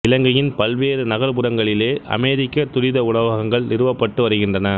இலங்கையின் பல்வேறு நகரப்புரங்களிலே அமெரிக்க துரித உணவகங்கள் நிறுவப்பட்டு வருகின்றன